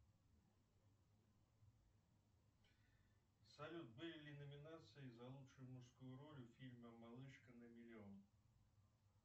салют были ли номинации за лучшую мужскую роль в фильме малышка на миллион